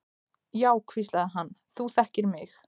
Já, hvíslaði hann, þú þekkir mig.